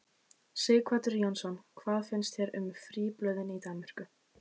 Sighvatur Jónsson: Hvað finnst þér um fríblöðin í Danmörku?